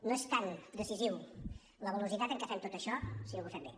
no és tan decisiu la velocitat en què fem tot això sinó que ho fem bé